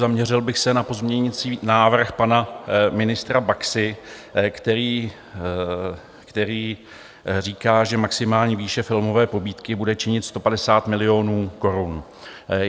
Zaměřil bych se na pozměňující návrh pana ministra Baxy, který říká, že maximální výše filmové pobídky bude činit 150 milionů korun.